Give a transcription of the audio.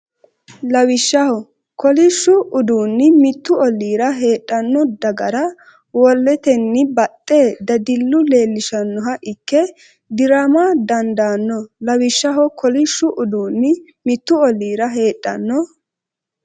Lawishshaho, kolishshu uduunni mittu ollira heedhanno dagra woleteni baxxe dadille leellishannoha ikke di’rama dandaanno Lawishshaho, kolishshu uduunni mittu ollira heedhanno.